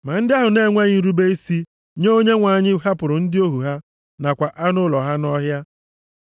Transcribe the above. Ma ndị ahụ na-enweghị nrube isi nye okwu Onyenwe anyị hapụrụ ndị ohu ha nakwa anụ ụlọ ha nʼọhịa.